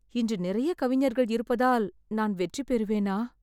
இன்று நிறைய கவிஞர்கள் இருப்பதால் நான் வெற்றி பெறுவேனா ?